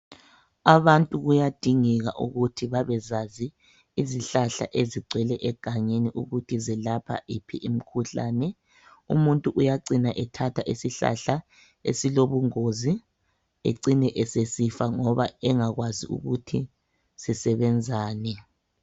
Abantu kuyadingela ukuthi babezazi izihlahla ezigcwele egangeni ukuthi zilapha iphi imikhuhlane umuntu uyacina ethatha isihlahla esilobungozi ecine esesifa ngoba engakwazi ukuthi sisebenzani